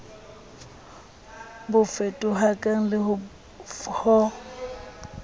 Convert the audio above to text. bo fetohakang le f ho